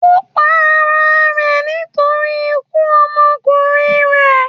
Ó pa ara rẹ̀ nítorí ikú ọmọkùnrin rẹ̀.